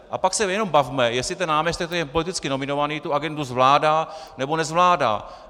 A pak se jenom bavme, jestli ten náměstek, který je politicky nominovaný, tu agendu zvládá, nebo nezvládá.